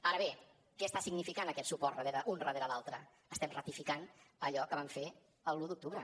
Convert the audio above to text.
ara bé què està significant aquest suport un darrere l’altre estem ratificant allò que vam fer l’un d’octubre